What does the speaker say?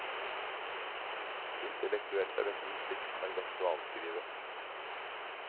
Intellektuelt er dette musikk som er lett å avskrive.